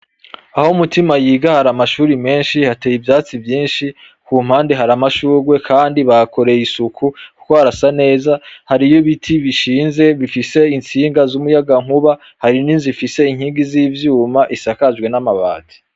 Aho Mutima yiga hari amashuri menshi hateye ivyatsi vyishi ku mpande hari amashurwe kandi bahakoreye isuku kuko harasa neza hariyo ibiti bishinze bifise intsinga zu muyagankuba hari n'inzu ifise inkingi zi vyuma isakajwe n'amabati.